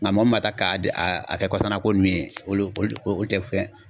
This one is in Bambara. Nga mɔgɔ min b'a ta k'a di a a kɛ kɔsɔna ko munnu ye olu olu te fɛn